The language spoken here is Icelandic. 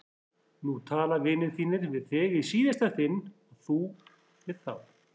Nú tala vinir þínir við þig í síðasta sinn og þú við þá!